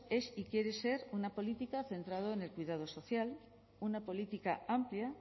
es y quiere ser una política centrada en el cuidado social una política amplia